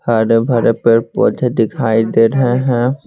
हरे भरे पेड़ पौधे दिखाई दे रहे हैं।